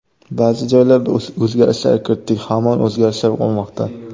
Ba’zi joylarda o‘zgarishlar kiritdik, hamon o‘zgarishlar bo‘lmoqda.